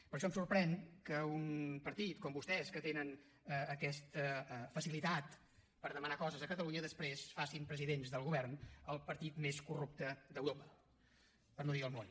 per això em sorprèn que un partit com vostès que tenen aquesta facilitat per demanar coses a catalunya després facin presidents del govern el partit més corrupte d’europa per no dir del món